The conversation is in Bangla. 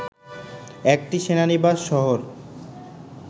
একটি সেনানিবাস শহর